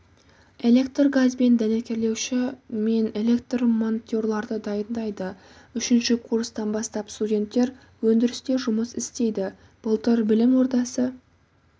электргазбен дәнекерлеуші мен электрмонтерларды дайындайды үшінші курстан бастап студенттер өндірісте жұмыс істейді былтыр білім ордасы